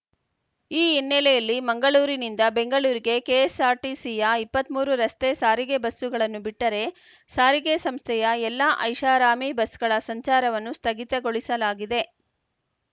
ಈ ಇನ್ನೆಲೆಯಲ್ಲಿ ಮಂಗಳೂರಿನಿಂದ ಬೆಂಗಳೂರಿಗೆ ಕೆಎಸ್ಸಾರ್ಟಿಸಿಯ ಇಪ್ಪತ್ತ್ ಮೂರು ರಸ್ತೆ ಸಾರಿಗೆ ಬಸ್ಸುಗಳನ್ನು ಬಿಟ್ಟರೆ ಸಾರಿಗೆ ಸಂಸ್ಥೆಯ ಎಲ್ಲಾ ಐಷಾರಾಮಿ ಬಸ್‌ಗಳ ಸಂಚಾರವನ್ನು ಸ್ಥಗಿತಗೊಳಿಸಲಾಗಿದೆ